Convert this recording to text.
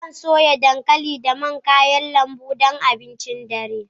Zan soya dankali da man kayan lambu don abincin dare.